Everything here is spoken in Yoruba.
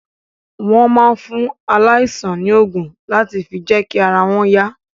Wọ́n máa ń fún aláìsàn ní ògùn láti fi jẹ́kí ara wọn yá